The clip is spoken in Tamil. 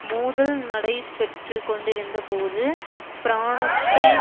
மோதல் நடைப்பெற்றுக்கொண்டிருந்த போது பிரானஸ்த்தை